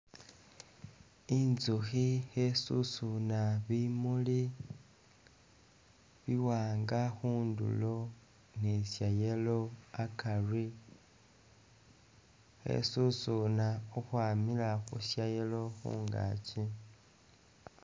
Inzukhi khesusuna bimuli biwanga khundulo ni Sha yellow akari, khesusuna khukhwamila khu Sha yellow khungakyi